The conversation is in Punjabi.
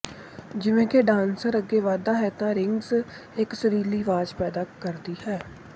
ਜਿਵੇਂ ਕਿ ਡਾਂਸਰ ਅੱਗੇ ਵੱਧਦਾ ਹੈ ਇਹ ਰਿੰਗਜ਼ ਇੱਕ ਸੁਰੀਲੀ ਆਵਾਜ਼ ਪੈਦਾ ਕਰਦੀ ਹੈ